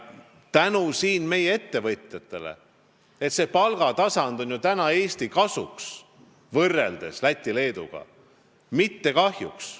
Tänu meie ettevõtjatele on palgatase täna Eesti kasuks võrreldes Läti ja Leeduga, mitte kahjuks.